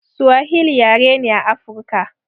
Suwahili yare ne a afruka